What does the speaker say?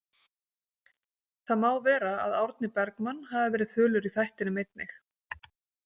Það má vera að Árni Bergman hafi verið þulur í þætinum einig.